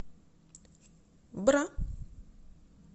бра